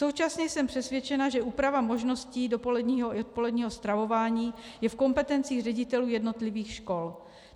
Současně jsem přesvědčena, že úprava možností dopoledního i odpoledního stravování je v kompetencích ředitelů jednotlivých škol.